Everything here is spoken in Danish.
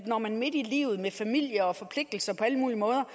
når man midt i livet med familie og forpligtelser på alle mulige måder